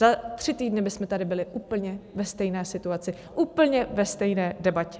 Za tři týdny bychom tady byli úplně ve stejné situaci, úplně ve stejné debatě.